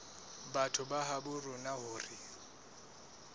batho ba habo rona hore